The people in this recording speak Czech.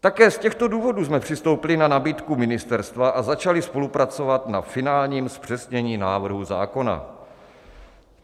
Také z těchto důvodů jsme přistoupili na nabídku ministerstva a začali spolupracovat na finálním zpřesnění návrhu zákona.